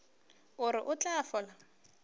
o re o tla fola